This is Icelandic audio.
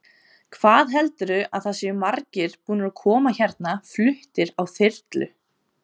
Hvað heldurðu að það séu margir búnir að koma hérna fluttir á þyrlu?